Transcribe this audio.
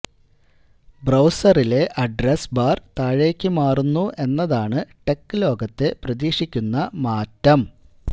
ബ്രൌസറിലെ address bar താഴേക്കു മാറുന്നു എന്നതാണ് ടെക് ലോകത്തെ പ്രതീക്ഷിക്കുന്ന മാറ്റം